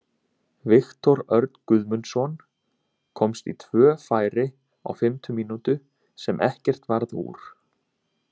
Viktor Örn Guðmundsson komst í tvö færi á fimmtu mínútu sem ekkert varð úr.